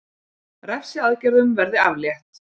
Refsiaðgerðum verði aflétt